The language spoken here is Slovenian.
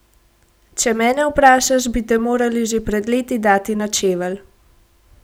Če mene vprašaš, bi te morali že pred leti dati na čevelj.